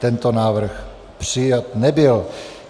Tento návrh přijat nebyl.